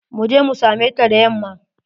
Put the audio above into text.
Mu je mu same ta da yamma.